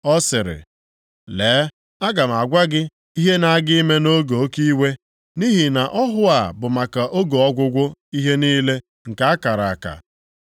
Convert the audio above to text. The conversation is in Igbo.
Ọ sịrị, “Lee, aga m agwa gị ihe na-aga ime nʼoge oke iwe. Nʼihi na ọhụ a bụ maka oge ọgwụgwụ ihe niile nke a kara aka.